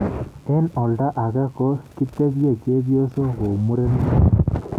Eng olda age ko kitpche chebyosok kou murenik.